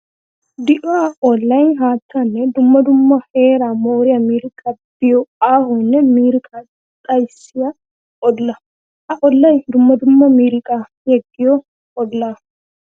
Di'o ollay haattanne dumma dumma heera mooriya miiriqqa biyo aahonne miiriqa xayssiya olla. Ha ollay dumma dumma miiriqa yeggiyo olla.